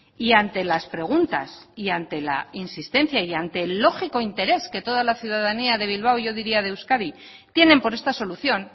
y ante las preguntas y ante la insistencia y ante el lógico interés que toda la ciudadanía de bilbao yo diría de euskadi tienen por esta solución